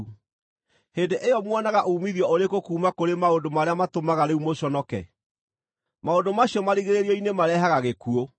Hĩndĩ ĩyo muonaga uumithio ũrĩkũ kuuma kũrĩ maũndũ marĩa matũmaga rĩu mũconoke? Maũndũ macio marigĩrĩrio-inĩ marehaga gĩkuũ!